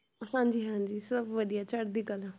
ਹਾਂਜੀ, ਹਾਂਜੀ ਸਭ ਵਧੀਆ ਚੜ੍ਹਦੀ ਕਲਾ।